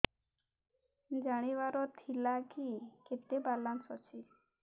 ଜାଣିବାର ଥିଲା କି କେତେ ବାଲାନ୍ସ ଅଛି